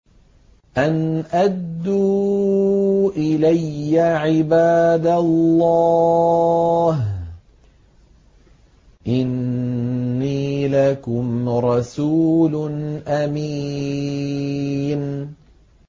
أَنْ أَدُّوا إِلَيَّ عِبَادَ اللَّهِ ۖ إِنِّي لَكُمْ رَسُولٌ أَمِينٌ